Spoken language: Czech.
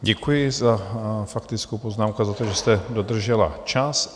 Děkuji za faktickou poznámku a za to, že jste dodržela čas.